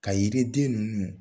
Ka yiri den ninnu